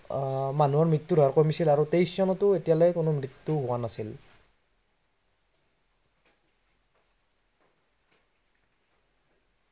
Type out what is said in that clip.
আহ মৃত্য়ুৰ হাৰ কমিছিল আৰু তেইশ চনতো এতিয়ালৈ কোনো মৃত্য়ু হোৱা নাছিল।